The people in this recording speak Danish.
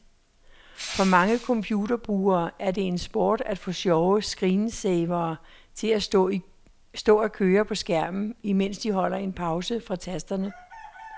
For mange computerbrugere er det en sport at få sjove screensavere til at stå at køre på skærmen, imens de holder en pause fra tasterne.